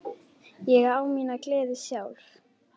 Ég á mína gleði sjálf.